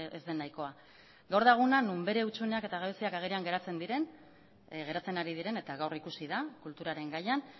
ez den nahikoa gaur da eguna non bere hutsuneak eta gabeziak agerian geratzen ari diren eta gaur ikusi da kulturaren gaian